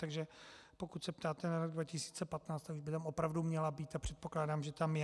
Takže pokud se ptáte na rok 2015, tak už by tam opravdu měla být, a předpokládám, že tam je.